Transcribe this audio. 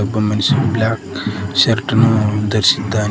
ಒಬ್ಬ ಮನುಷ್ಯನು black shirt ಅನ್ನು ಧರಿಸಿದ್ದಾನೆ.